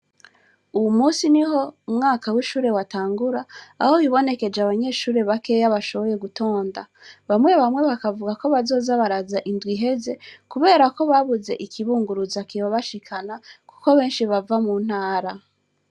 Uwu musi ni ho umwaka w'ishure watangura aho bibonekeje abanyeshure bakeya bashoboye gutonda bamwe bamwe bakavuga ko bazozabaraza indw iheze, kubera ko babuze ikibunguruza kiba bashikana, kuko benshi bava mu ntara.